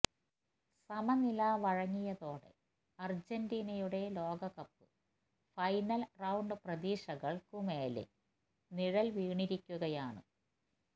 സമനില വഴങ്ങിയതോടെ അര്ജന്റീനയുടെ ലോകകപ്പ് ഫൈനല് റൌണ്ട് പ്രതീക്ഷകള്ക്കുമേല് നിഴല് വീണിരിക്കുകയാണ്